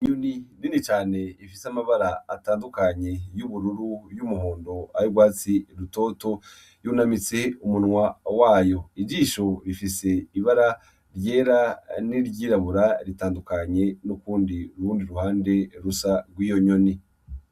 N’inyini nini cane ifise amabara atandukanye y'ubururu y'umuhundo ari rwatsi rutoto yunamitse umunwa wayo ijisho rifise ibara ryera n'iryirabura ritandukanye n'ukundi rundi ruhande rusa rw'iyo nyoni.